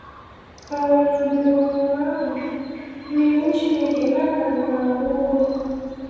um Mgbe um ahụ, n’iwu Chineke, Nathan gara Nwaokolo.